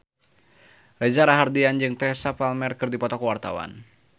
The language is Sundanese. Reza Rahardian jeung Teresa Palmer keur dipoto ku wartawan